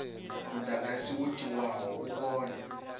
mudagasi wo tiwaho u kone